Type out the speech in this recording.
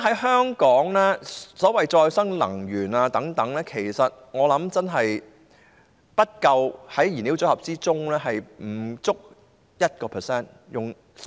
香港現時的所謂可再生能源，我相信在燃料組合中真的不夠 1%。